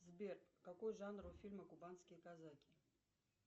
сбер какой жанр у фильма кубанские казаки